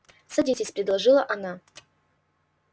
садитесь предложила она